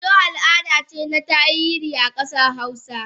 Dodo al'ada ce na tarihi a kasar hausa